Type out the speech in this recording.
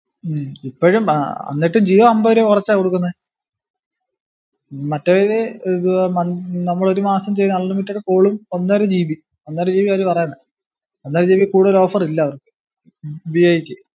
ഉം ഇപ്പോഴും ഏർ എന്നിട്ടും ജിയോ അമ്പത് രൂപ കൊറച്ചാ കൊടുക്കുന്നെ ഉം മറ്റവര് ഏർ ഇത് നമ് നമ്മള് ഒരുമാസം ചെയ് unlimited call ഉം ഒന്നര gb ഉം ഒന്നര gb ആ അവര് പറയിന്നെ ഒന്നര gb കൂടിയ ഒരോ offer ഇല്ല അവർക്ക് വി ഐ ക്ക് ഉം